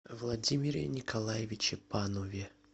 владимире николаевиче панове